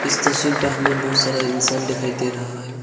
इस तस्वीर पे हमें बहुत सारा इंसान दिखाई दे रहा है।